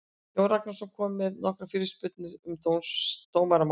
Jón Ragnarsson kom með nokkrar fyrirspurnir um dómaramál.